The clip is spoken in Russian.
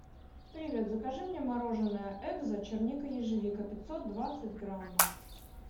привет закажи мне мороженое экзо черника ежевика пятьсот двадцать граммов